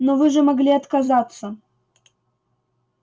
но вы же могли отказаться